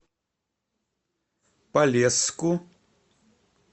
полесску